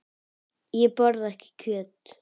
Ég borða ekki kjöt.